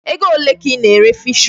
Ego ole ka ị na-ere Fish-roll?